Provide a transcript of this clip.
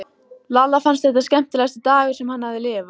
Lalla fannst þetta skemmtilegasti dagur sem hann hafði lifað.